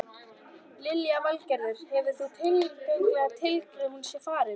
Lillý Valgerður: Hefur það tilfinningalegt gildi að hún sé farin?